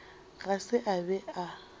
ga se a be a